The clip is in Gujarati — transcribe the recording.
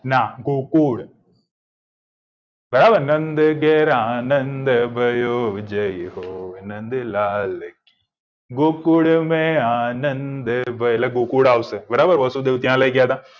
ના ગોકુળ બરાબર નંદ ગેરો નંદ ગયો જાય હો નંદ લાલકી ગોકુલ્મે નંદ એટલે ગોકુળ આવશે